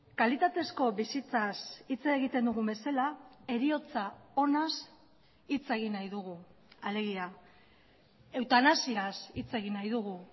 kalitatezko bizitzaz hitz egiten dugun bezala heriotza onaz hitz egin nahi dugu alegia eutanasiaz hitz egin nahi dugu